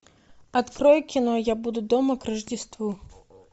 открой кино я буду дома к рождеству